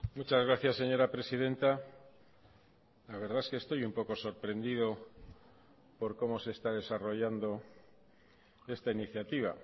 muchas gracias señora presidenta la verdad es que estoy un poco sorprendido por cómo se está desarrollando esta iniciativa